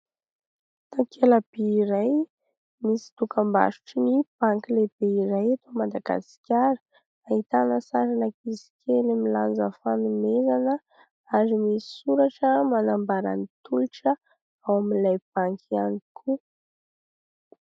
Takela-by iray misy dokam-barotrin'ny banky lehibe iray eto Madagasikara ; ahitana sarin'ankizy kely milanja fanomezana ary misoratra manambara ny tolotra ao amin'ilay banky ihany koa.